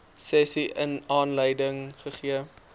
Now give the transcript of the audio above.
sessie aanleiding gegee